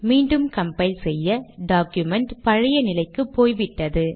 மீண்டும் கம்பைல் செய்ய டாக்குமெண்ட் பழைய நிலைக்கு போய்விட்டது